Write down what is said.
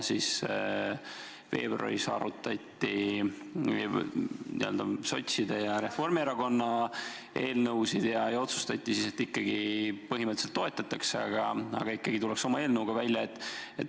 Veebruaris arutati sotside ja Reformierakonna eelnõusid ja otsustati, et põhimõtteliselt toetatakse, aga ikkagi tullakse oma eelnõuga välja.